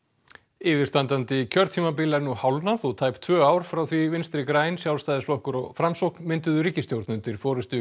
yfirstandandi kjörtímabil er nú hálfnað og tæp tvö ár frá því Vinstri græn Sjálfstæðisflokkur og Framsókn mynduðu ríkisstjórn undir forystu